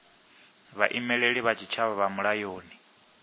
vhaimeleli vha tshitshavha vha mulayoni